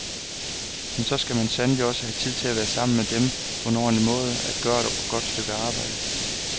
Men så skal man sandelig også have tid til at være sammen med dem på en ordentlig måde, at gøre et godt stykke arbejde.